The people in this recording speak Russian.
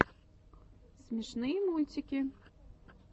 смешные мультики